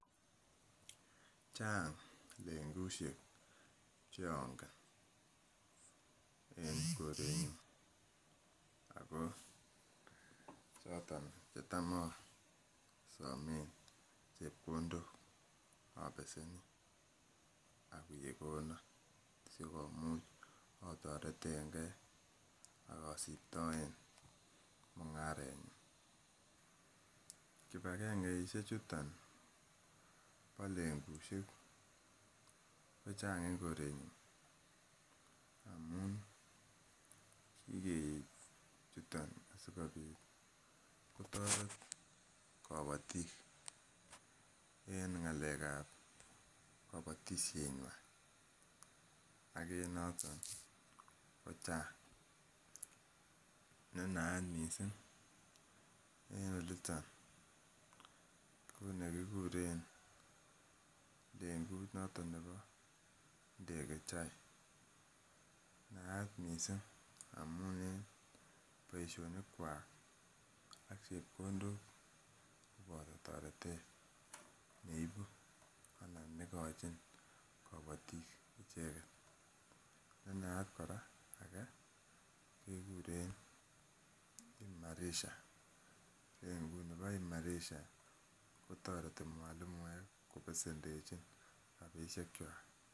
Chang lengusiek chongen en koretnyun ako choton chetam asomen chepkondok obeseni ak kekonon sikomuch otoretengee ak osiptoen mung'aret nyun. Kibagangeisiek chuton bo lengusiek ko chang en koretnyun amun kikeib chuton asikobit kotoret kobotik en ng'alek ab kobotisiet nywan ak en noton ko chang ne naat missing en oliton ko nekikuren lengut noton nebo Ndege Chai, naat missing amun en boisionik kwak ak chepkondok cheboto toretet neibu anan nekochin kobotik icheket. Ne naat kora ake kekuren Imarisha lengut nibo Imarisha kotoreti mwalimuek kobesendechin rapisiek kwak